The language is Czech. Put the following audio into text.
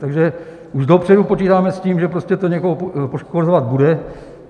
Takže už dopředu počítáme s tím, že prostě to někoho poškozovat bude.